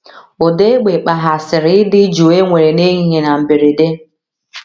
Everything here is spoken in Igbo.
Ụda égbè kpaghasịrị ịdị jụụ e nwere n’ehihie na mberede.